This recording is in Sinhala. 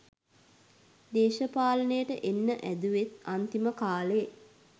දේශපාලනයට එන්න හෑදුවෙත් අන්තිම කාලෙ.